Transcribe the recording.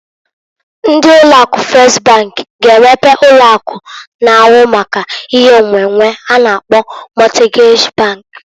Ndị ụlọ akụ Fes bank g'emepe ụlọ akụ na-ahụ maka ihe nnwennwe a na-akpọ Mọtgej bank.